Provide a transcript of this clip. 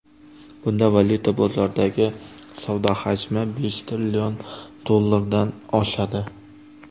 Bunda valyuta bozoridagi savdo hajmi besh trillion dollardan oshadi.